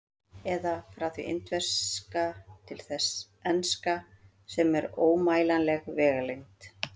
Eða: frá því indverska til þess enska, sem er ómælanleg vegalengd.